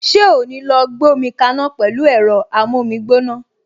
Ṣé o ò ní lọ gbómi kaná pẹ̀lú ẹ̀rọ amómígbóná!